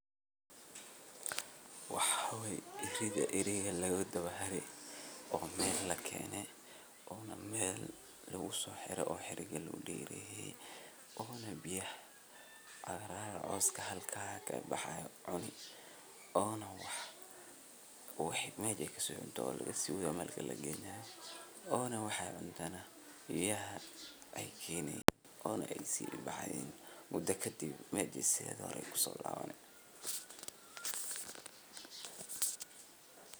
Waxaa weye ridha eriga lagadabahari oo meel lakeene oona meel lagusooxire oo xiriga loo dereye oona biyaha cagaar coska halkaa kabaxayo cuni oona waxii meja ey kasii cunto lagasiiwadha meel kale lageeyna oona waxa ey cunto neh biyaha ey kenee one eey sii baxayaan mudo kadib mesha sidhii hore ey kusolabane.